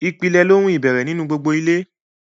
ìpìlẹ̀ ni ohun ìbẹ̀rẹ̀ nínú gbogbo ilé.